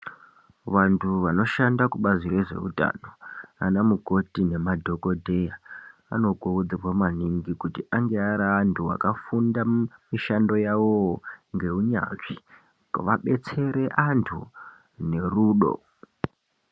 Vantu vanoshanda kubazi rezvehutano, vanamukoti nemadhokodheya ,vanokurudzirwa maningi kuti ange ari antu vakafunda mishando yawo ngewunyazvi, vadetsere antu nerudo.